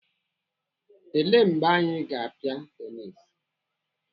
Ele mgbe anyị ga-apịa tenisi?